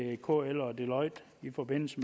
kl og deloitte i forbindelse